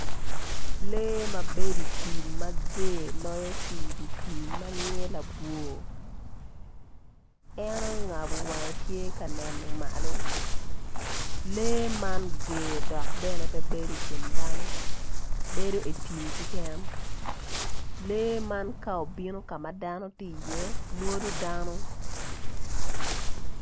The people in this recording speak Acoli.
Lee ma bedo idye tim mager loyo ki dye tim manyinge labwor en ongabo wange tye ka neno malo lee man ger dok bene pe bedo ikin dano bedo itim keken lee man ka obino ka ma dano tye i iye mwodo dano